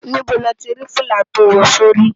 Nibó ló ti rá filá tó wò si óri?